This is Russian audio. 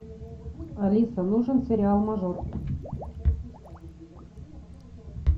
алиса нужен сериал мажор